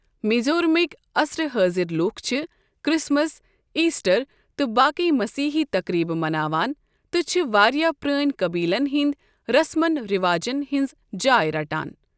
میزورمٕک عصرِ حٲضرِ لوکھ چھِ کرسمس، ایسٹر تہٕ باقی مسیحی تقریبہٕ مناوان تہٕ چھِ واریاہ پرٲنۍ قبیلن ہٕنٛدۍ رسمن رواجَن ہٕنٛز جاے رَٹان۔